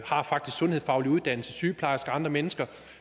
sundhedsfaglig uddannelse sygeplejersker og andre mennesker og